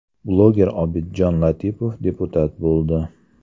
Bloger Obidjon Latipov deputat bo‘ldi.